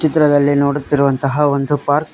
ಚಿತ್ರದಲ್ಲಿ ನೋಡುತ್ತಿರುವಂತಹ ಒಂದು ಪಾರ್ಕ್ .